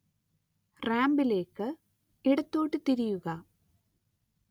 റാമ്പിലേക്ക് ഇടത്തോട്ട് തിരിയുക